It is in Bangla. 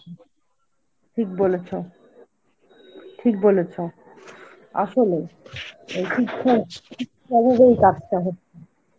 ঠিক বলেছ, ঠিক বলেছ আসলে